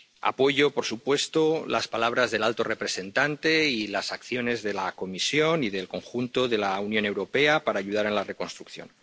Apoyo, por supuesto, las palabras del alto representante y las acciones de la Comisión y del conjunto de la Unión Europea para ayudar en la reconstrucción.